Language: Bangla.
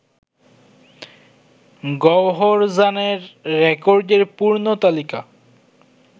গওহরজানের রেকর্ডের পূর্ণ তালিকা